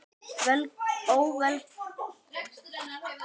Ókominn féll ég af efsta þrepi